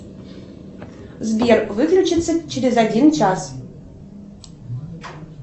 сбер выключится через один час